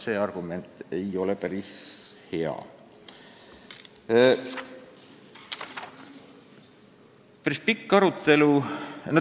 See argument ei ole hea ega saa olla aluseks Riigikogu otsuse eelnõu tagasilükkamisel.